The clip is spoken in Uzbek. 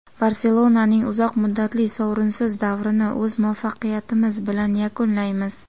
"Barselona"ning uzoq muddatli sovrinsiz davrini o‘z muvaffaqiyatimiz bilan yakunlaymiz";.